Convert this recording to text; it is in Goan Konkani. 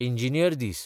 इंजिनियर दीस